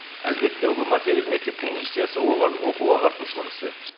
әлбетте ұлы мәртебелі мектептің миссиясы оқу ағартушылық ісі